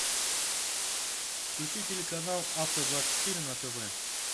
включи телеканал авто двадцать четыре на тв